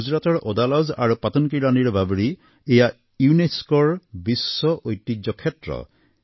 গুজৰাটৰ ওদালাজ আৰু পাটন কী ৰাণী এয়া ইউনেস্কৰ বিশ্ব ঐতিহ্য ক্ষেত্ৰ